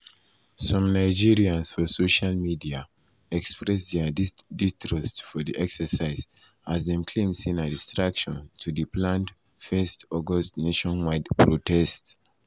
some nigerans for social media express dia distrust for di exercise as dem claim say na distraction to di planned 1 august nationwide protest.